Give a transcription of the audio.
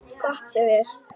Gott hjá þér.